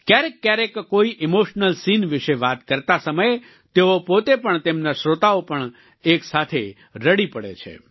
ક્યારેક ક્યારેક કોઈ ઈમોશનલ સીન વિશે વાત કરતા સમયે તેઓ પોતે પણ તેમના શ્રોતા પણ એકસાથે રડી પડે છે